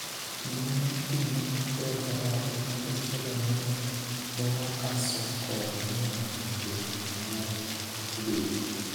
Ngima mar keny ne okber kata matin, kendo Stella neno kaso kore mimondo keny mare obedi.